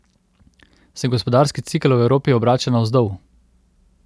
Se gospodarski cikel v Evropi obrača navzdol?